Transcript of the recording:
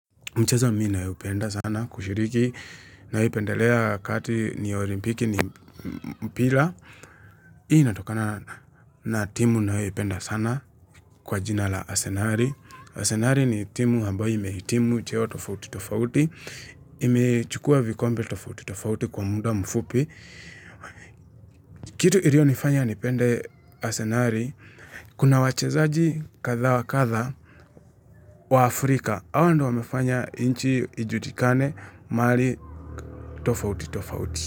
Mchezo mii nayoupenda sana kushiriki nayoipendelea kati ni olimpiki ni mpira. Hii inatokana na timu nayoiupenda sana kwa jina la asenari. Asenari ni timu ambayo imehitimu cheo tofauti tofauti. Imechukua vikombe tofauti tofauti kwa muda mfupi. Kitu ilionifanya nipende asenari. Kuna wachezaji kadha wa kadha wa Afrika. Hao ndo wamefanya inchi ijulikane mahai tofauti tofauti.